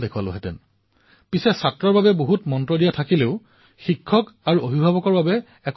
মই এটা কথা লক্ষ্য কৰিলো যে কিতাপখনত শিক্ষাৰ্থীৰ বাবে বহু মন্ত্ৰ আছে কিন্তু অভিভাৱক আৰু শিক্ষকৰ বাবে কিতাপখনত বিশেষ একো কথা নাই